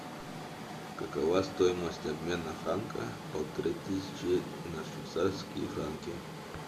какова стоимость обмена франка полторы тысячи на швейцарские франки